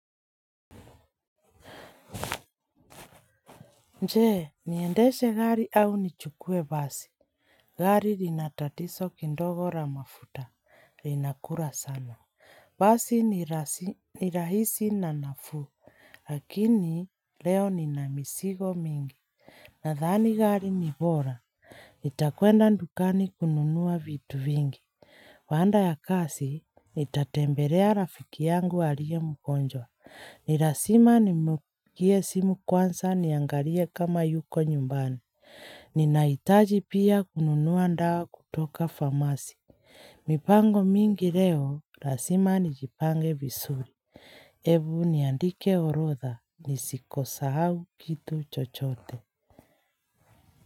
Nje, niendeshe gari au nichukue basi. Gari rinatatiso kindogo ramafuta, rinakura sama. Basi. Nirahisi na nafu, lakini leo nina misigo mingi. Nadhani gari nibora. Itakuenda ndukani kununua vitu vingi. Baanda ya kasi, nitatembelea rafiki yangu alie mgonjwa. Ni rasima nimukie simu kwanza niangalie kama yuko nyumbani. Ninaitaji pia kununua ndawa kutoka famasi. Mipango mingi leo rasima nijipange visuri. Ebu niandike orotha ni sikosa hau kitu chochote.